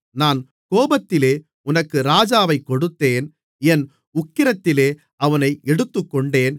நான் கோபத்திலே உனக்கு ராஜாவைக் கொடுத்தேன் என் உக்கிரத்திலே அவனை எடுத்துக்கொண்டேன்